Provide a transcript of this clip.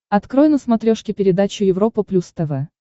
открой на смотрешке передачу европа плюс тв